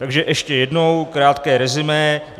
Takže ještě jednou krátké resumé.